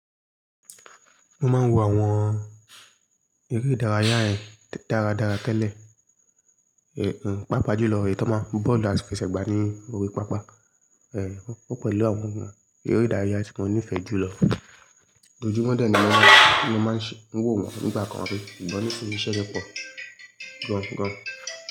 Mo máa ń wo àwọn eré ìdárayá ẹ daradara tẹ́lẹ̀, pàápàá jùlọ èyí tó máa ń bọ́ọ̀lù àfeṣe gba ní orí pápá. Ẹ̀ wọ́n pẹ̀lú àwọn eré ìdárayá tí mo nífẹ̀ẹ́ jùlọ. Ojúmọ́ dọ́ni ni mọ́ máa ń ṣe wò wọ́n nígbà kan rí, sugbon nisinyi íṣẹ́ lẹpọ̀ gan gan.